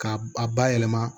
K'a a bayɛlɛma